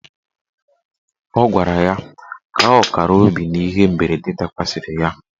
Ọ gwara ya ka ọ kara obi n'ihe mberede dakwasịrị ya.